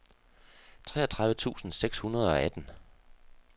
treogtredive tusind seks hundrede og atten